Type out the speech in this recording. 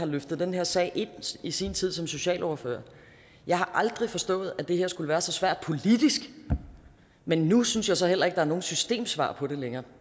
løftede den her sag ind i sin tid som socialordfører jeg har aldrig forstået at det her skulle være så svært politisk men nu synes jeg så heller ikke der er noget systemsvar på det længere